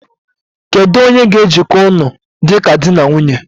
Kedu onye ga ejiko ụnụ dịka dị na nwunye?